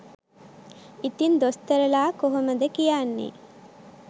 ඉතිං දොස්තරලා කොහොමද කියන්නේ